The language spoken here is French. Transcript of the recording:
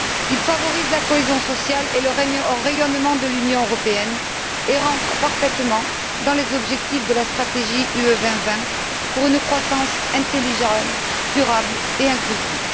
Ils favorisent la cohésion sociale et le rayonnement de l'Union européenne et cadrent parfaitement dans les objectifs de la stratégie Europe 2020 pour une croissance intelligente, durable et inclusive.